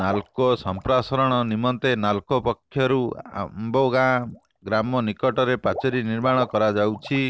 ନାଲ୍କୋ ସଂପ୍ରସାରଣ ନିମନ୍ତେ ନାଲ୍କୋ ପକ୍ଷରୁ ଆମ୍ବଗାଁ ଗ୍ରାମ ନିକଟରେ ପାଚେରି ନିର୍ମାଣ କରାଯାଉଛି